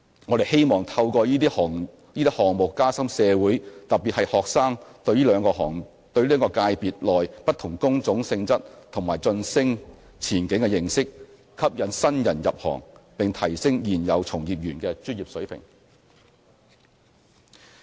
我們希望透過這些項目加深社會，特別是學生，對這兩個界別內不同工種性質和晉升前景的認識，吸引新人入行，並提升現有從業員的專業水平。